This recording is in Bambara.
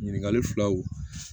Ɲininkali filaw